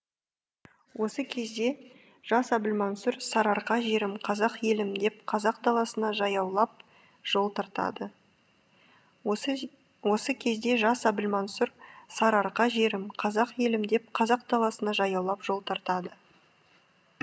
осы кезде жас әбілмансұр сарыарқа жерім қазақ елім деп қазақ даласына жаяулап жол тартады осы кезде жас әбілмансұр сарыарқа жерім қазақ елім деп қазақ даласына жаяулап жол тартады